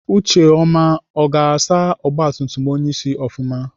Ucheọma ọ ga-asa ọgbatumtum onyeisi ofụma?